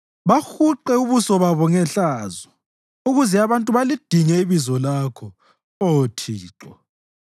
Bahuqe ubuso babo ngehlazo ukuze abantu balidinge ibizo lakho, Oh Thixo.